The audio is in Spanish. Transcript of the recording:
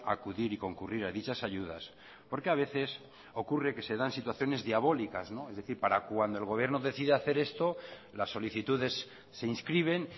acudir y concurrir a dichas ayudas porque a veces ocurre que se dan situaciones diabólicas es decir para cuando el gobierno decide hacer esto las solicitudes se inscriben